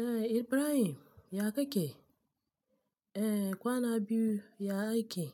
Eh Ibrahim ya kake? Eh kwana biyu ya ake.